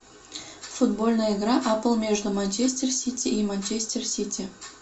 футбольная игра апл между манчестер сити и манчестер сити